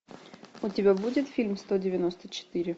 у тебя будет фильм сто девяносто четыре